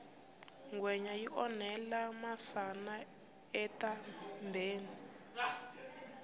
ngwenya yi orhela masana etambheni